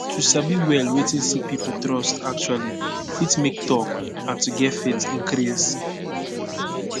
to sabi well wetin sick pipo trust actually fit make talk and to get faith increase